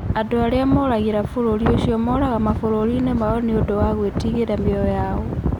Andũ arĩa moragĩra bũrũri ucio moraga mabũrũri-inĩ mao nĩ ũndũ wa gwĩtigĩra mĩoyo yao.